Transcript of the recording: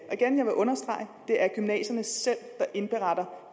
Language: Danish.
og understrege at det er gymnasierne selv der indberetter